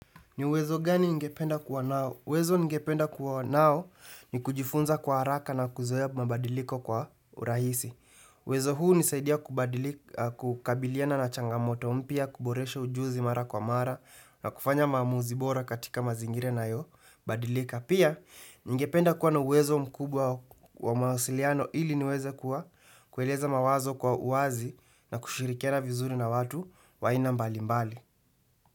Ni uwezo gani ningependa kuwa nao? Uwezo ningependa kuwa nao ni kujifunza kwa haraka na kuzoea mabadiliko kwa urahisi. Uwezo huu hunisaidia kukabiliana na changamoto mpya kuboresha ujuzi mara kwa mara na kufanya maamuzi bora katika mazingira inayo badilika. Pia ningependa kuwa na uwezo mkubwa wa mawasiliano ili niweze kuwa kueleza mawazo kwa uazi na kushirikiana vizuri na watu wa aina mbali mbali.